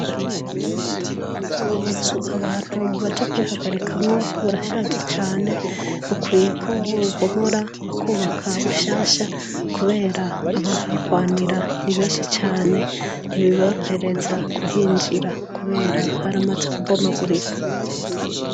Amazu abantu baja kwihagarikamwo burashaje cane, bukwiyeko bobubomora bakubaka bushasha kubera abahahwanira ni benshi cane ntibiborohereza kuhinjira kubera haramaze kubomagurika.